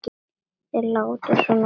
Þeir láta svona þessir karlar.